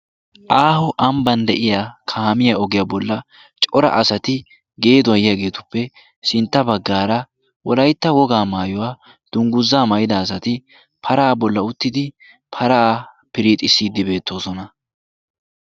aaho ambban de'iya kaamiya ogiyaa bolla cora asati geeduwaa yiyaageetuppe sintta baggaara wolaytta wogaa maayuwaa dungguzzaa mayida asati paraa bolla uttidi paraa piriixissiiddi beettoosona